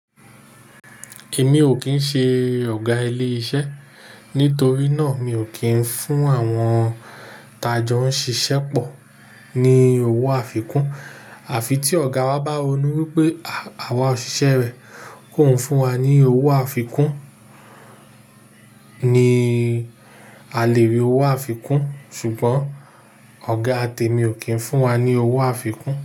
Èmi ò kín ṣe ọ̀gá ilé iṣẹ́ nítorí náà mi ò kín fún àwọn tajọ ń ṣiṣẹ́ pọ̀ ní owó àfikún. Àfi tí ọ̀gá wa bá ronú wípé àwa òṣìṣẹ́ rẹ̀ kò uń fún wa ní owó àfikún ni a lè rí owó àfikún. Ṣùgbọ́n ọ̀gá tẹ mi ò kín fún wa ní owó àfikún.